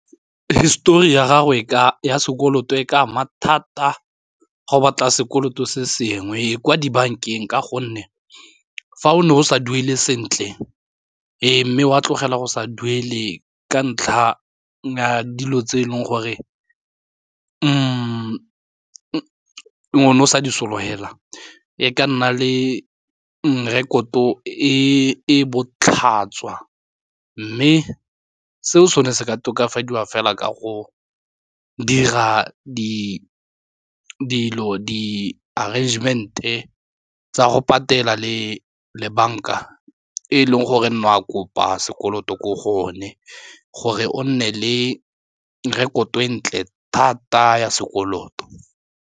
Histori ya gagwe ya sekoloto e ka ama thata go batla sekoloto se sengwe e kwa dibankeng ka gonne fa o ne o sa duele sentle mme wa tlogela go sa duele ka ntlha ya dilo tse e leng gore o ne o sa di sologela e ka nna le mme rekoto e botlhaswa mme seo sone se ka tokafadiwa fela ka go dira di l-arrangement-e tsa go patela le le banka e leng gore e nne wa kopa sekoloto gore o nne le rekoto e ntle thata ya sekoloto.